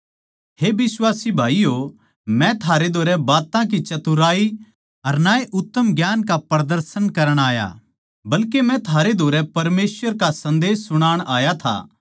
हे बिश्वासी भाईयो मै थारै धोरै ना तो बात्तां की चतुराई अर ना ए उत्तम ज्ञान का प्रदर्शन करण आया बल्के मै थारे धोरै परमेसवर का सन्देस सुणाण आया था